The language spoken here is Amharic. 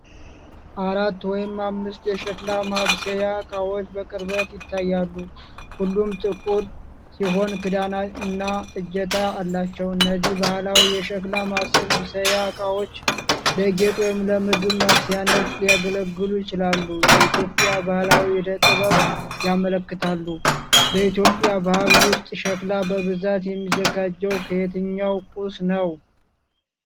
አራት ወይም አምስት የሸክላ ማብሰያ ዕቃዎች በቅርበት ይታያሉ። ሁሉም ጥቁር ሲሆኑ ክዳንና እጀታ አላቸው። እነዚህ ባህላዊ የሸክላ ማብሰያ ዕቃዎች ለጌጥ ወይም ለምግብ ማብሰያነት ሊያገለግሉ ይችላሉ። የኢትዮጵያን ባህላዊ ዕደ-ጥበብ ያመለክታሉ። በኢትዮጵያ ባህል ውስጥ ሸክላ በብዛት የሚዘጋጀው ከየትኛው ቁስ ነው?